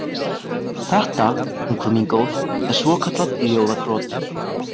Þetta, ungfrú mín góð, er svokallað ljóðakrot